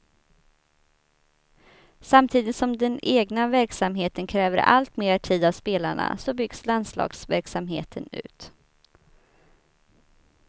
Samtidigt som den egna verksamheten kräver allt mer tid av spelarna så byggs landslagsverksamheten ut.